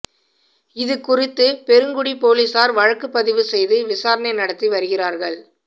இது குறித்து பெருங்குடி போலீசார் வழக்குப்பதிவு செய்து விசாரணை நடத்தி வருகிறார்கள்